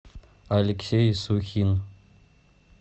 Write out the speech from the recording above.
алексей сухин